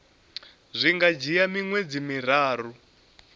zwi nga dzhia miṅwedzi miraru